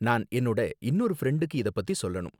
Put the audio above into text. நான் என்னோட இன்னொரு ஃப்ரெண்டுக்கு இத பத்தி சொல்லணும்.